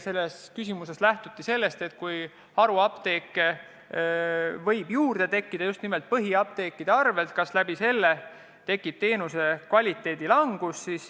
Selles küsimuses lähtuti eelkõige sellest, et kui haruapteeke võib juurde tekkida just nimelt põhiapteekide arvel, siis kas sellega kaasneb teenuse kvaliteedi halvenemine.